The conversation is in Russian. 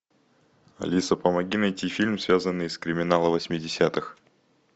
алиса помоги найти фильм связанный с криминалом восьмидесятых